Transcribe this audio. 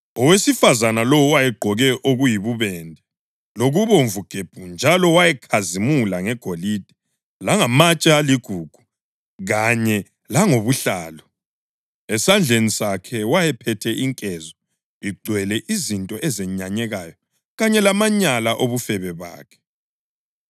Owesifazane lowo wayegqoke okuyibubende lokubomvu gebhu njalo wayekhazimula ngegolide langamatshe aligugu kanye langobuhlalu. Esandleni sakhe wayephethe inkezo igcwele izinto ezenyanyekayo kanye lamanyala obufebe bakhe.